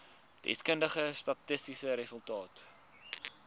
deskundige statistiese resultate